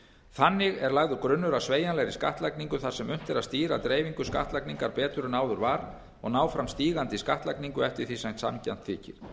þannig er lagður grunnur að sveigjanlegri skattlagningu þar sem unnt er að stýra dreifingu skattlagningar betur en áður var og ná fram stígandi skattlagningu eftir því sem sanngjarnt þykir